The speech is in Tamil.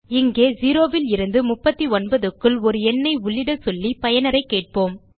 இங்கே 0 லிருநது 39க்குள் ஒரு எண்ணை உள்ளிடச் சொல்லி பயனரைக் கேட்போம்